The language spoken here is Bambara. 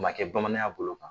O man kɛ bamananya bolo kan.